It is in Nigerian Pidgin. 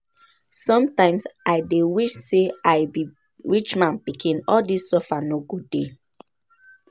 Sometimes I dey wish say I be rich man pikin, all dis suffer suffer no go dey